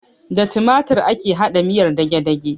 Da timatir ake haɗa miyar dagedage